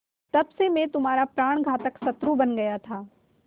तब से मैं तुम्हारा प्राणघातक शत्रु बन गया था